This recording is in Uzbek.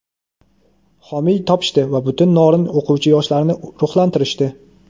homiy topishdi va butun Norin o‘quvchi-yoshlarini ruhlantirishdi.